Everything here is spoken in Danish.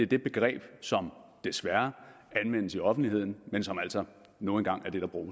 er det begreb som desværre anvendes i offentligheden men som altså nu engang